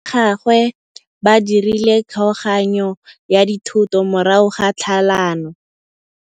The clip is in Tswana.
Batsadi ba gagwe ba dirile kgaoganyô ya dithoto morago ga tlhalanô.